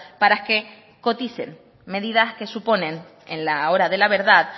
para que coticen medidas que suponen en la hora de la verdad